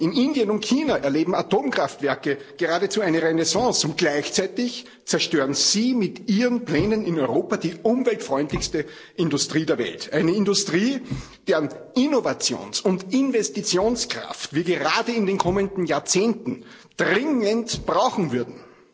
In Indien und China erleben Atomkraftwerke geradezu eine Renaissance, und gleichzeitig zerstören Sie mit Ihren Plänen in Europa die umweltfreundlichste Industrie der Welt, eine Industrie, deren Innovations— und Investitionskraft wir gerade in den kommenden Jahrzehnten dringend brauchen würden.